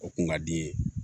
O kun ka di n ye